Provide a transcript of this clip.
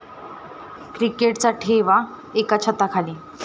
क्रिकेटचा ठेवा एका छताखाली!